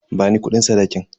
Bani kudin sadakin.